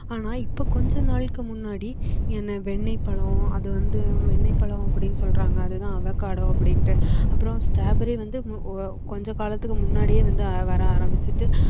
ஆனா இப்போ கொஞ்ச நாளைக்கு முன்னாடி என்ன வெண்ணெய்பழம் அது வந்து வெண்ணெய் பழம் அப்படின்னு சொல்றாங்க அதுதான் avacoda அப்படின்டு அப்புறோம strawberry வந்து கொஞ்ச காலத்துக்கு முன்னாடியே வந்து வர ஆரம்பிச்சுட்டு